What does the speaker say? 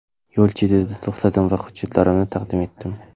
Yo‘l chetida to‘xtadim va hujjatlarimni taqdim etdim.